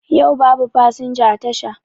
Yau babu fasinja a tasha